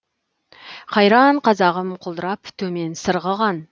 қайран қазағым құлдырап төмен сырғыған